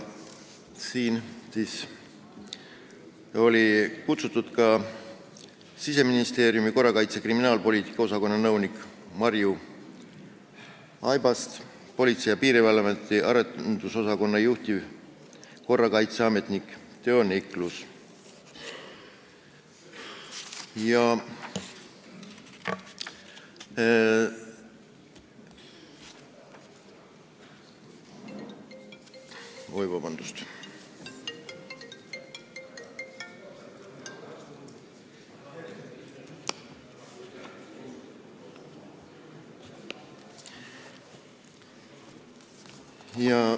Sinna olid kutsutud Siseministeeriumi korrakaitse- ja kriminaalpoliitika osakonna nõunik Marju Aibast ning Politsei- ja Piirivalveameti arendusosakonna juhtivkorrakaitseametnik Teo Niklus.